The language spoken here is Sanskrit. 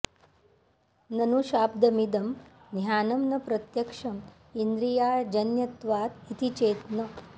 ननु शाब्दमिदं ज्ञानम् न प्रत्यक्षम् इन्द्रियाजन्यत्वात् इति चेत् न